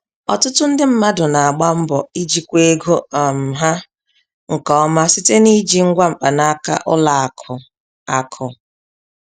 Ọtụtụ ndị mmadụ na-agba mbọ ijikwa ego um ha nke ọma site n'iji ngwa mkpanaka ụlọ akụ. akụ.